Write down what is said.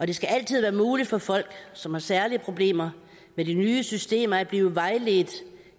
det skal altid være muligt for folk som har særlige problemer med de nye systemer at blive vejledt